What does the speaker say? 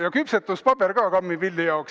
Ja küpsetuspaber ka kammipilli jaoks.